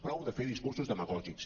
prou de fer discursos demagògics